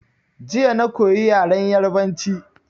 Jiya na koyi yaren Yarabanci